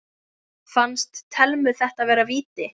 Fannst Thelmu þetta vera víti?